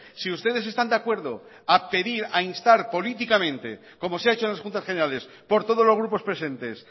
si ustedes están de acuerdo a pedir a instar políticamente como se ha hecho en las juntas generales por todos los grupos presentes